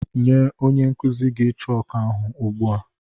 Nye onye nkuzi gị chooku ahụ ugbu a!